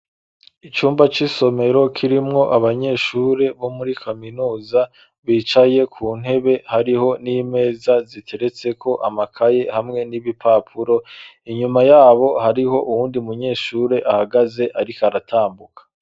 Icumba c'isomero, kirimwo abanyeshure, bo muri kaminuza, bicaye ku ntebe; hariho n'imeza, ziteretseko amakaye, hamwe n'ibipapuro; inyuma y'abo, hariho uwundi munyeshure ahagaze, ariko aratambuka.